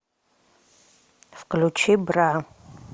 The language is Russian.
включи бра